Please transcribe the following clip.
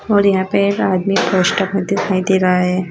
और यहां पे एक आदमी पोस्टर में दिखाई दे रहा है।